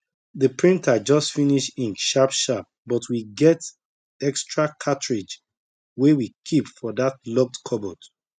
the printer just finish ink sharpsharp but we get extra cartridge wey we keep for that locked cupboard